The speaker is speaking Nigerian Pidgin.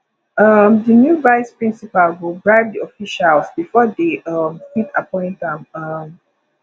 um the new vice principal go bribe the officials before they um fit appoint am um